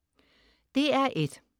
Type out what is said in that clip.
DR1: